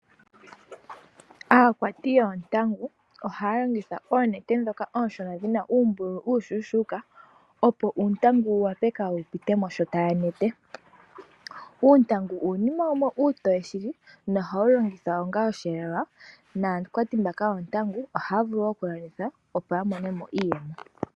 Aakwati yoontangu ohaya landitha oonete ndhoka ooshona dhi na uumbululu uushona opo uundangu wu wape kaawu pitemosha monete. Uuntangu uunima wumwe uutoye shili no hawu longithwa onga osheelelwa naakwati mbaka yoondangu ohaya vulu okulanditha opo ya monemo iiyemo.